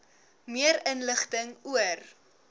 meer inligting oor